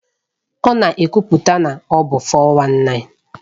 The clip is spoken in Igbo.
Ọ na-ekwupụta na ọ bụ 419.